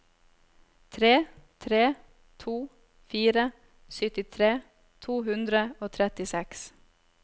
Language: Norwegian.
tre tre to fire syttitre to hundre og trettiseks